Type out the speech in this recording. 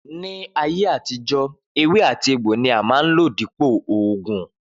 Ni ayé àtijó, ewé àti egbò ní wón n lò dípò oògùn